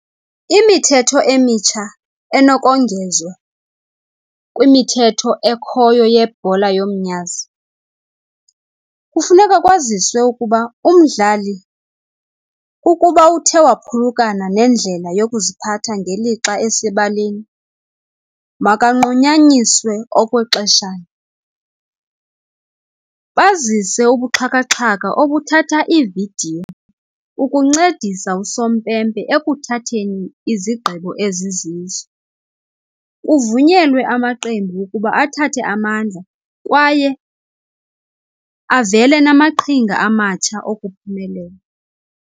Imithetho emitsha enokongezwa kwimithetho ekhoyo yebhola yomnyazi, kufuneka kwaziswe ukuba umdlali ukuba uthe waphulukana nendlela yokuziphatha ngelixa esebaleni, makanqunyanyiswe okwexeshana. Bazise ubuxhakaxhaka obuthatha iividiyo ukuncedisa usompempe ukuthatheni izigqibo ezizizo, kuvunyelwe amaqembu ukuba athathe amandla kwaye avele namaqhinga amatsha okuphumelela.